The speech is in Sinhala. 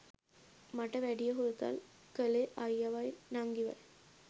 මට වැඩිය හුරතල් කලේ අයියවයි නංගිවයි.